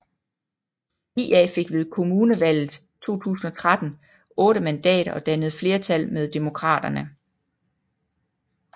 IA fik ved kommunevalget 2013 8 mandater og dannede flertal med Demokraterne